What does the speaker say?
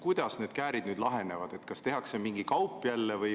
Kuidas need käärid nüüd lahenevad – kas tehakse jälle mingi kaup?